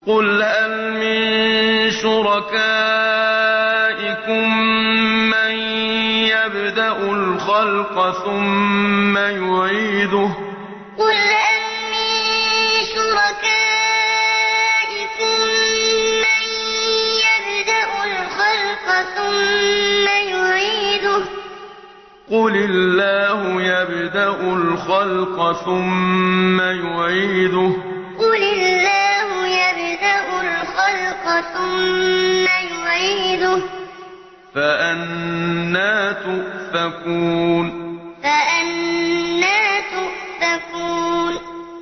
قُلْ هَلْ مِن شُرَكَائِكُم مَّن يَبْدَأُ الْخَلْقَ ثُمَّ يُعِيدُهُ ۚ قُلِ اللَّهُ يَبْدَأُ الْخَلْقَ ثُمَّ يُعِيدُهُ ۖ فَأَنَّىٰ تُؤْفَكُونَ قُلْ هَلْ مِن شُرَكَائِكُم مَّن يَبْدَأُ الْخَلْقَ ثُمَّ يُعِيدُهُ ۚ قُلِ اللَّهُ يَبْدَأُ الْخَلْقَ ثُمَّ يُعِيدُهُ ۖ فَأَنَّىٰ تُؤْفَكُونَ